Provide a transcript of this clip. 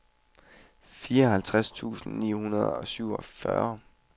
fireogtres tusind ni hundrede og syvogfyrre